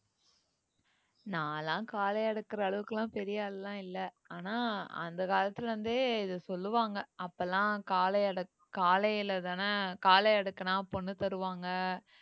நான்லாம் காளைய அடக்குற அளவுக்குலாம் பெரிய ஆளுலாம் இல்ல ஆனா அந்த காலத்துல இருந்தே இத சொல்லுவாங்க அப்பெல்லாம் காளை அடக்~ காளையிலதான காளை அடக்கினா பொண்ணு தருவாங்க